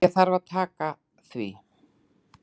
Ég þarf að taka því.